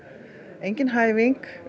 engin